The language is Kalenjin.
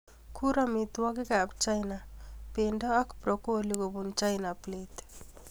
Kur amitwogikab China bendo ak broccolik kobun china plate